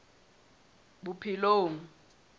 bophelong